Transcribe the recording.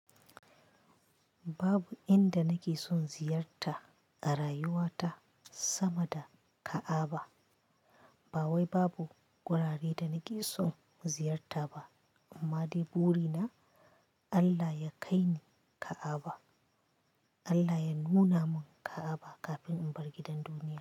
Babu inda nake son ziyarta a rayuwata sama da Ka'aba. Bawai babu wurare da nake son ziyarta ba amma dai buri na Allah ya kai ni Ka'aba. Allah ya nuna mun Ka'aba kafin in bar gidan duniya.